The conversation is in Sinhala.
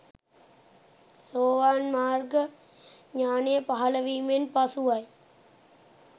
සෝවාන් මාර්ග ඥානය පහළ වීමෙන් පසුවයි.